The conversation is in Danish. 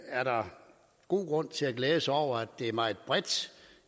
er der god grund til at glæde sig over at det er meget bredt